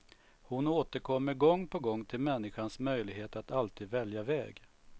Hon återkommer gång på gång till människans möjlighet att alltid välja väg.